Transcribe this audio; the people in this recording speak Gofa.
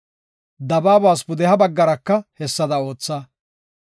Dabaabas pudeha baggaraka hessada ootha.